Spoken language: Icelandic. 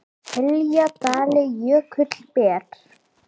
hylji dali jökull ber